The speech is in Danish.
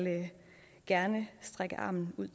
gerne række hånden ud